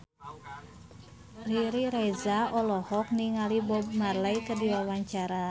Riri Reza olohok ningali Bob Marley keur diwawancara